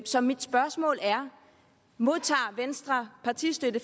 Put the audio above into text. så mit spørgsmål er modtager venstre partistøtte